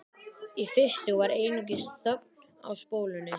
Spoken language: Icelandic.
Í fyrstu var einungis þögn á spólunni.